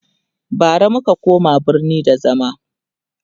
bara muka koma birni da zama